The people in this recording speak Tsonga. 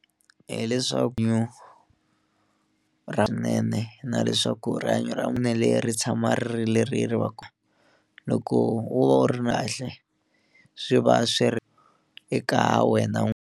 Hi leswaku ra na leswaku rihanyo ra leyi ri tshama ri ri leri ri va ku loko wo va wu ri swi va swi ri eka wena .